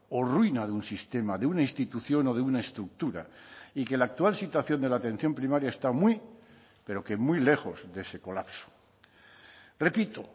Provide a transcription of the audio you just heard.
o ruina de un sistema de una institución o de una estructura y que la actual situación de la atención primaria está muy pero que muy lejos de ese colapso repito